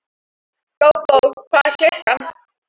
Gógó, hvað er klukkan?